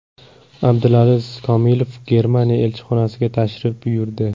Abdulaziz Komilov Germaniya elchixonasiga tashrif buyurdi.